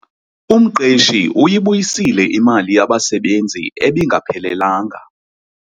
Umqeshi uyibuyisile imali yabasebenzi ebingaphelelanga.